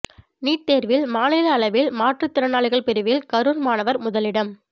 NEET தேர்வில் மாநில அளவில் மாற்றுத்திறனாளிகள் பிரிவில் கரூர் மாணவர் முதலிடம்